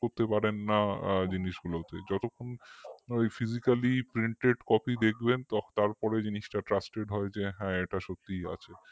করতে পারেন না জিনিসগুলোকে যতক্ষণ ওই physicallyprintedcopy দেখবেন তারপরে জিনিসটা trusted হয় যে হ্যাঁ এটা সত্যিই আছে